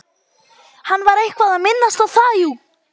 Hann var eitthvað að minnast á það, jú.